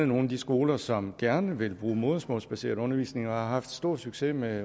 nogle af de skoler som gerne vil bruge modersmålsbaseret undervisning og som har haft stor succes med